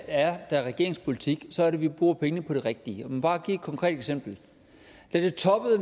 er der er regeringens politik så er det at vi bruger pengene på det rigtige lad mig give et konkret eksempel